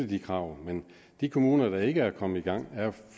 de krav men de kommuner der ikke er kommet i gang er